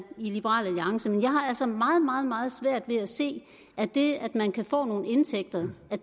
liberal alliance men jeg har altså meget meget meget svært ved at se at det at man kan få nogle indtægter